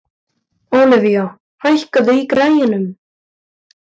Olivia, hækkaðu í græjunum.